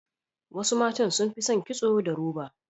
Wasu matan sun fi son kitso da roba.